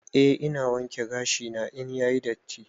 Eh ina wanke gashi na in yayi datti.